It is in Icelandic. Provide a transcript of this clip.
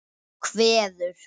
Hún kveður.